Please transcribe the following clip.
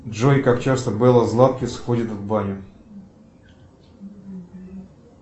джой как часто белла златкис ходит в баню